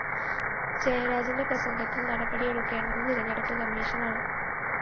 ജയരാജന്റെ പ്രസംഗത്തില്‍ നടപടിയെടുക്കേണ്ടത് തെരഞ്ഞെടുപ്പ് കമ്മിഷനാണ്